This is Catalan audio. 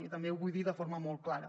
i també ho vull dir de forma molt clara